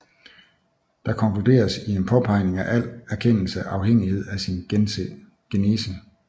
Der konkluderes i en påpegning af al erkendelses afhængighed af sin genese